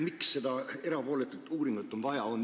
Miks seda erapooletut uuringut vaja on?